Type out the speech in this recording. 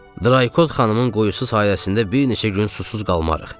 Draykod xanımın qoyduğu su sayəsində bir neçə gün susuz qalmarıq.